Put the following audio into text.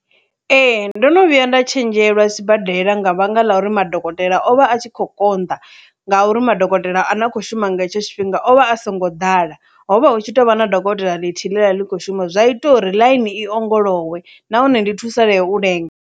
Ee, ndo no vhuya nda tshenzhelwa sibadela nga vhanga ḽa uri madokotela o vha a tshi kho konḓa ngauri madokotela ane a khou shuma nga hetsho tshifhinga ovha a songo ḓala, hovha hu tshi tovha na dokotela ḽithihi ḽi kho shuma zwa ita uri ḽaini i ongolowe nahone ndi thusalee u lenga.